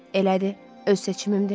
Elədi, öz seçimimdir.